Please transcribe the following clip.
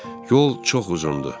Yol çox uzundur.